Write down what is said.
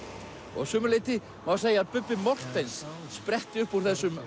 og að sumu leyti má segja að Bubbi Morthens spretti upp úr þessum